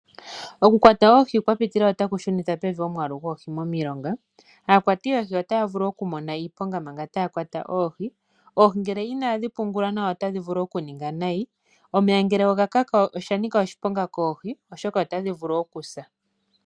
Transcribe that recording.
Okukwata oohi kwa pitilila otaku shunithapevi omwaalu goohi momilonga. Aakwati yoohi otaya vulu okumona iiponga manga taya kwata oohi. Oohi ngele inadhi pungulwa nawa otadhi vulu okuninga nayi. Omeya ngele oga kaka osha nika oshiponga koohi, oshoka otadhi vulu okusa.